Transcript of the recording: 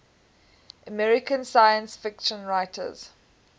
american science fiction writers